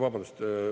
Vabandust!